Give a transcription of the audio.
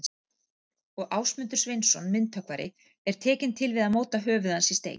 Og Ásmundur Sveinsson, myndhöggvari, er tekinn til við að móta höfuð hans í stein.